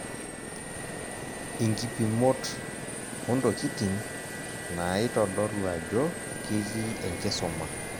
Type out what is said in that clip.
Inkipimot, ontokiting' naaitodolu ajo ketii enkisuma.